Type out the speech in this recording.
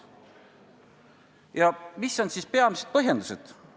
Ja millised on peamised põhjendused?